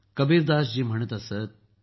कबीरदास जी म्हणत असत